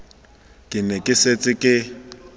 ke ne ke setse ke